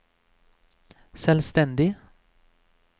selvstendig